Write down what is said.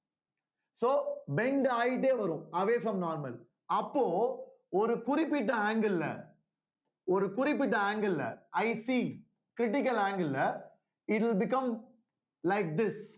so bend ஆயிட்டே வரும் away from normal அப்போ ஒரு குறிப்பிட்ட angle ல ஒரு குறிப்பிட்ட angle ல ICcritical angle ல it will become like this